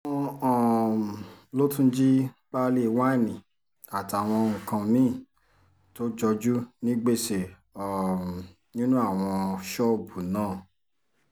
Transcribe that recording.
wọ́n um lọ tún jí páálí wáìnì àtàwọn nǹkan mì-ín tó jojú ní gbèsè um nínú àwọn ṣọ́ọ̀bù náà